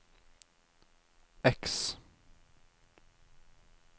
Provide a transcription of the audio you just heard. X